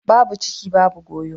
Babu ciki babu goyo.